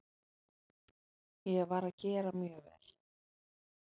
Ég var að gera mjög vel.